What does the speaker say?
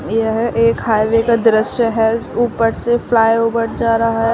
यह एक हाईवे का दृश्य है ऊपर से फ्लायओवर जा रहा है।